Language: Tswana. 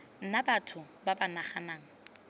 nna batho ba ba naganang